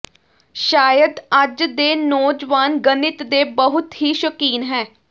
ਸ਼ਾਇਦ ਅੱਜ ਦੇ ਨੌਜਵਾਨ ਗਣਿਤ ਦੇ ਬਹੁਤ ਹੀ ਸ਼ੌਕੀਨ ਹੈ